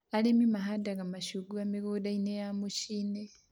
Arĩmi mahandaga mĩcungwa mĩgũnda-inĩ ya mũcii-inĩ